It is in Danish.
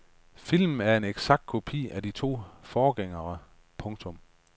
Filmen er en eksakt kopi af de to forgængere. punktum